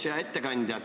Hea ettekandja!